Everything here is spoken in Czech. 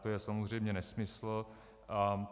To je samozřejmě nesmysl.